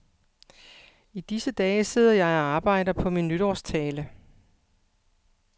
I disse dage sidder jeg og arbejder på min nytårstale.